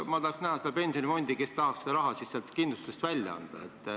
Ma tahaks näha seda pensionifondi, kes tahaks selle raha kindlustusseltsist välja anda.